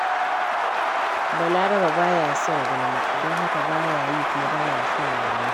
Balarabe ba ya son gulma, don haka ba ya yi, kuma ba ya son mai yi.